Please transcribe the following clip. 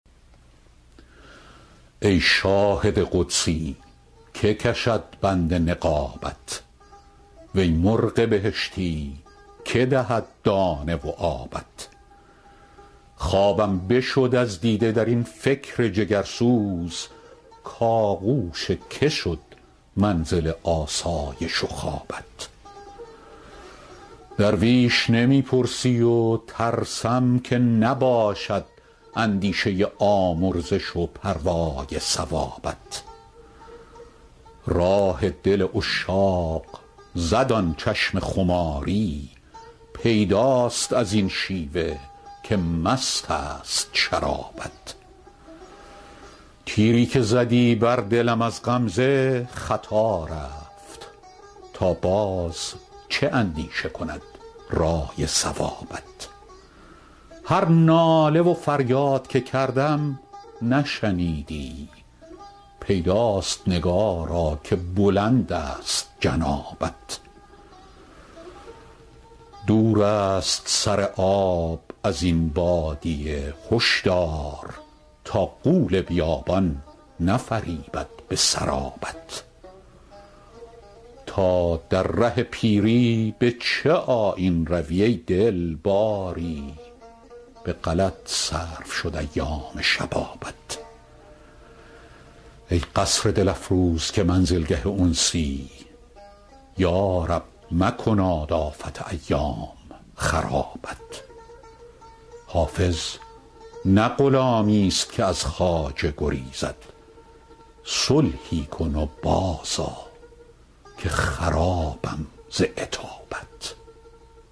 ای شاهد قدسی که کشد بند نقابت وی مرغ بهشتی که دهد دانه و آبت خوابم بشد از دیده در این فکر جگرسوز کآغوش که شد منزل آسایش و خوابت درویش نمی پرسی و ترسم که نباشد اندیشه آمرزش و پروای ثوابت راه دل عشاق زد آن چشم خماری پیداست از این شیوه که مست است شرابت تیری که زدی بر دلم از غمزه خطا رفت تا باز چه اندیشه کند رأی صوابت هر ناله و فریاد که کردم نشنیدی پیداست نگارا که بلند است جنابت دور است سر آب از این بادیه هشدار تا غول بیابان نفریبد به سرابت تا در ره پیری به چه آیین روی ای دل باری به غلط صرف شد ایام شبابت ای قصر دل افروز که منزلگه انسی یا رب مکناد آفت ایام خرابت حافظ نه غلامیست که از خواجه گریزد صلحی کن و بازآ که خرابم ز عتابت